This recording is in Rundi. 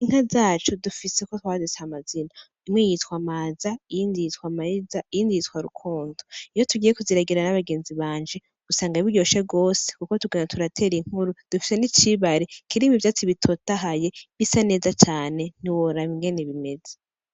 Inka zacu ndufis'uko twazise amazina:imwe yitwa maza iyindi yitwa mariza, iyindi yitwa rukundo. iyo tugiye kuziragira n'abagenzi banje usanga biryoshe gose kuko tugenda turatera inkuru. dufise n'icibare kirimw'ivyatsi bitotahaye bisa neza cane ,ntiworaba ingene bimeze.